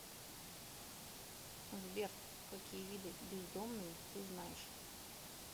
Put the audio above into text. сбер какие виды бездомные ты знаешь